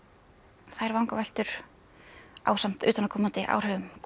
þær vangaveltur ásamt utanaðkomandi áhrifum koma